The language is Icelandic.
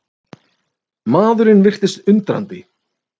Maðurinn virtist undrandi.